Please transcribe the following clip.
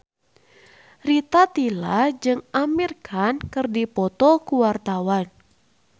Rita Tila jeung Amir Khan keur dipoto ku wartawan